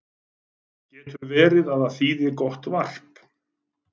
Getur verið að það þýði gott varp?